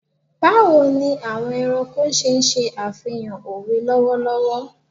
Bawo ni awọn ẹranko ṣe ṣe afihan owe lọwọlọwọ